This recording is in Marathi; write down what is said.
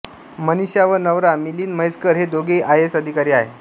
मनीषा व नवरा मिलिंद म्हैसकर हे दोघेही आयएस अधिकारी आहेत